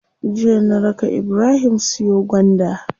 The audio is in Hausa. Jiya na raka ibrahim siyo gwanda.